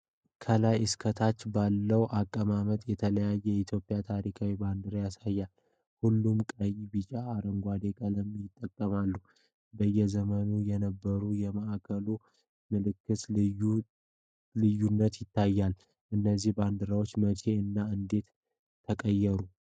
ከላይ እስከ ታች ባለው አቀማመጥ የተለያዩ የኢትዮጵያን ታሪካዊ ባንዲራዎችን ያሳያል። ሁሉም ቀይ፣ ቢጫ እና አረንጓዴ ቀለሞችን ይጠቀማሉ። በየዘመኑ የነበረው የማዕከላዊ ምልክት ልዩነት ይታያል። እነዚህ ባንዲራዎች መቼ እና እንዴት ተቀየሩ?